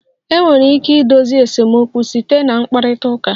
Enwere ike idozi esemokwu site na mkparịta ụka